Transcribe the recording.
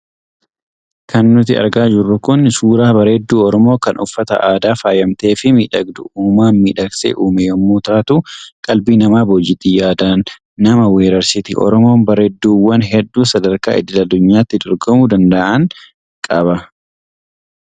Kan nuti argaa jirru kun suuraa bareedduu Oromoo kan uffata aadaa faayamte fi miidhagduu uumaan miidhagsee uume yommuu taatu qalbii nama boojiti. Yaadaan nama wareersiti! Oromoon bareedduuwwan hedduu sadarkaa idil addunyaatti dorgomuu danda’an qaba.